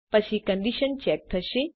પછી condition check થશે